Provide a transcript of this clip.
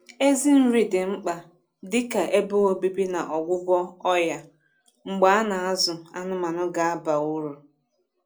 Ezi nri dị mkpa dị ka ebe obibi na ọgwụgwọ ọya mgbe a na-azụ anụmanụ ga-aba uru